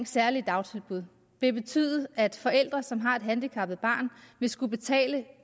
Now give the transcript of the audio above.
særlige dagtilbud det vil betyde at forældre som har et handicappet barn vil skulle betale